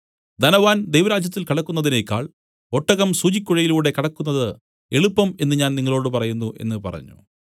ധനവാൻ ദൈവരാജ്യത്തിൽ കടക്കുന്നതിനേക്കാൾ ഒട്ടകം സൂചിക്കുഴയിലൂടെ കടക്കുന്നത് എളുപ്പം എന്നും ഞാൻ നിങ്ങളോടു പറയുന്നു എന്നു പറഞ്ഞു